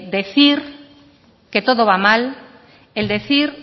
decir que todo va mal el decir